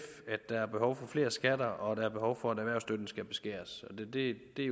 der er behov for flere skatter og der er behov for at erhvervsstøtten skal beskæres det er